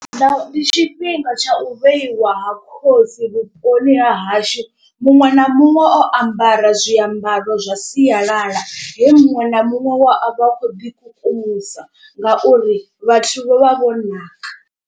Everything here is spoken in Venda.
Nda ndi tshifhinga tsha u vheiwa ha khosi vhuponi ha hashu muṅwe na muṅwe o ambara zwiambaro zwa sialala. He muṅwe na muṅwe we a vha a khou ḓi kukumusa ngauri vhathu vho vha vho naka.